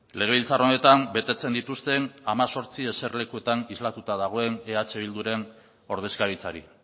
legebiltzar honetan betetzen dituzten hemezortzi eserlekuetan islatuta dagoen eh bilduren ordezkaritzari